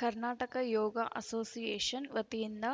Karnataka Yoga association ವತಿಯಿಂದ